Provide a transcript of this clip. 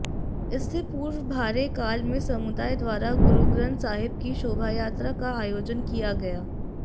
इससे पूर्व भारे काल में समुदाय द्वारा गुरुग्रंथ साहिब की शोभायात्रा का आयोजन किया गया